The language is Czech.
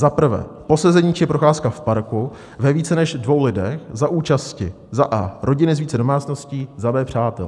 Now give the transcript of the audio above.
Za prvé, posezení či procházka v parku ve více než dvou lidech za účasti za a) rodiny z více domácností, za b) přátel.